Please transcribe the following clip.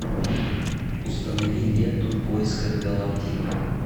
установи ленту в поисках галактики